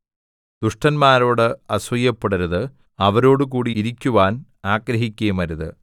ദുഷ്ടന്മാരോട് അസൂയപ്പെടരുത് അവരോടുകൂടി ഇരിക്കുവാൻ ആഗ്രഹിക്കുകയുമരുത്